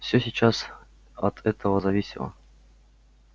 всё сейчас от этого зависело